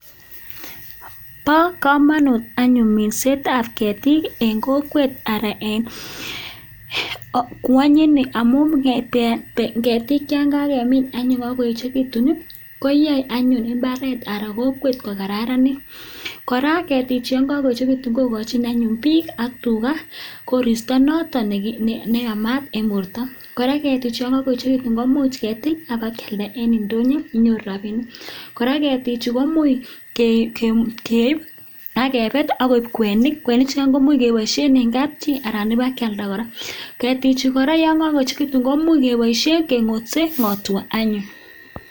Bo komonut anyun minsetab ketik eng kokwet anan en ngwonyuni amu ngebeen ketik cho kakemin amu ngoechekitun koyai anyun mbaret anan kokwet kokararanit kora ketichu kokakoechekitu kokochin anyun biik ak tuga koristo noton neyamat en borto kora ketichu kemuch ketil akealda en ndonyo inyoru rabinik ak ketichu komuch keib akebet akeib kwenik kwenik chugai komuch keboisien eng kap chi ana ibak kialda kora ketichu kora yo kaechekitun kemuch keboisien kengote ngotwa anyun